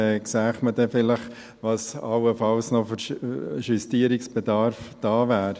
Man sähe dann vielleicht, was allenfalls noch an Justierungsbedarf da wäre.